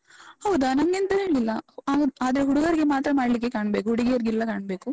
ಹೌದಾ? ನನ್ಗೆಂತ ಹೇಳಿಲ್ಲ, ಅ ಆದ್ರೆ ಹುಡುಗರಿಗೆ ಮಾತ್ರ ಮಾಡ್ಲಿಕ್ಕೆ ಕಾಣ್ಬೇಕು, ಹುಡುಗಿಯರಿಗಿಲ್ಲ ಕಾಣ್ಬೇಕು.